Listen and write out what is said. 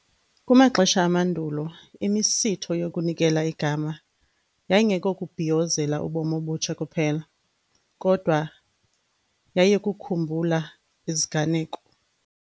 Kumaxesha amandulo imisitho yokunikela igama yayingekokubhiyozela ubomi obutsha kuphela kodwa yayikukhumbula iziganeko.